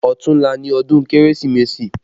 Ọ̀tunla ni ọdún Kérésìmesì